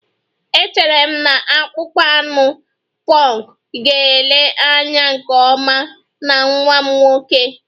Echere m na akpụkpọ anụ punk ga-ele anya nke ọma na nwa m nwoke